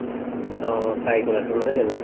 অ fry কৰাটো নহয় জানো